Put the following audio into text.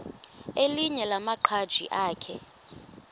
elinye lamaqhaji akhe